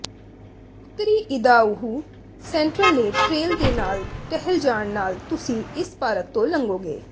ਉੱਤਰੀ Idaho sentinel trail ਦੇ ਨਾਲ ਟਹਿਲ ਜਾਣ ਨਾਲ ਤੁਸੀਂ ਇਸ ਪਾਰਕ ਤੋਂ ਲੰਘੋਗੇ